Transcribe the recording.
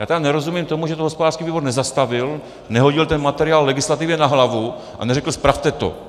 Já tedy nerozumím tomu, že to hospodářský výbor nezastavil, nehodil ten materiál legislativě na hlavu a neřekl spravte to.